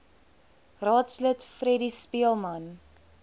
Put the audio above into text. raadslid freddie speelman